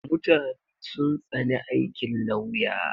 Mutane sun tsani aikin lawya.